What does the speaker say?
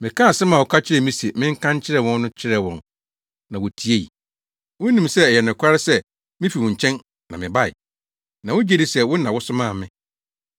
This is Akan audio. Mekaa asɛm a woka kyerɛɛ me se menka nkyerɛ wɔn no kyerɛɛ wɔn na wotiei. Wonim sɛ ɛyɛ nokware sɛ mifi wo nkyɛn na mebae. Na wogye di sɛ wo na wosomaa me.